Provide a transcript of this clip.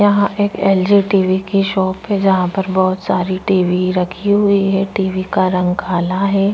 यहाँ एक LG. TV. की शॉप है जहां पर बहुत सारी टी.वी. रखी हुई है टी.वी. का रंग काला है।